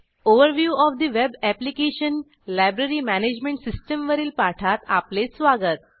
overview OF the web application - library management system वरील पाठात आपले स्वागत